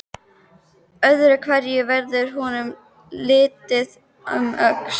Öðru hverju verður honum litið um öxl.